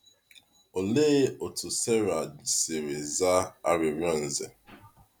Olee otú Sarai siri zaa arịrịọ Nze?